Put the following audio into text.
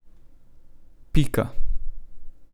Pika.